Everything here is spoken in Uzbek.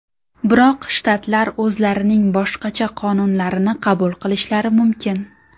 Biroq shtatlar o‘zlarining boshqacha qonunlarini qabul qilishlari mumkin.